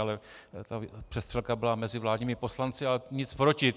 Ale ta přestřelka byla mezi vládními poslanci, ale nic proti.